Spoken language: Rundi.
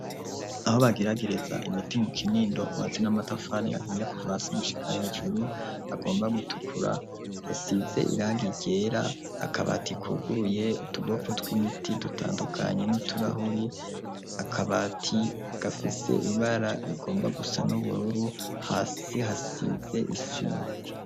Aho bageragereza imiti mu Kinindo hubatse n'amatafari ahiye kuva hasi gushika hejuru, agomba gutukura hasize irangi ryera. Akabati kuguruye utugopo tw'imiti dutandukanye, n'uturahuri. Akabati gafise ibara rigomba gusa n'ubururu, hasi hasize isima.